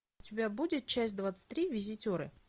у тебя будет часть двадцать три визитеры